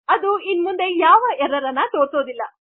ಅದು ಇನ್ನೂ ಮುಂದೆ ಯಾವುದೆ ಎರ್ರರ್ ಅನ್ನು ತೋರಿಸುವುದಿಲ್ಲ